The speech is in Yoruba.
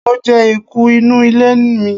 Mo je eku inu ile mi